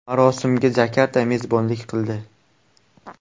Marosimga Jakarta mezbonlik qildi.